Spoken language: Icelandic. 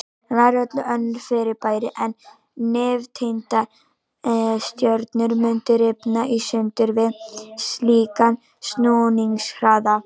Nær öll önnur fyrirbæri en nifteindastjörnur mundu rifna í sundur við slíkan snúningshraða.